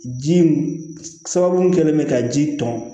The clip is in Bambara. Ji sababu kɛlen bɛ ka ji tɔn